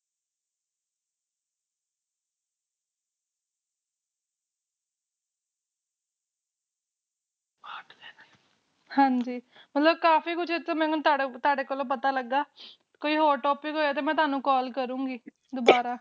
ਹਾਂਜੀ ਮਤਲਬ ਕਾਫੀ ਕੁਛ ਮੈਨੂੰ ਤੁਹਾਡੇ ਕੋਲੋਂ ਪਤਾ ਲਗਾ ਕੋਈ ਹੋਰ Topic ਹੋਏ ਤਾ ਮੈਂ ਤੁਹਾਨੂੰ Call ਕਰੁ